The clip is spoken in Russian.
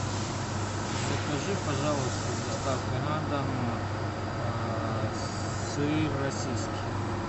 закажи пожалуйста с доставкой на дом сыр российский